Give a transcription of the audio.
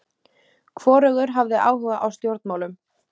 Hvorugur hafði áhuga á stjórnmálum.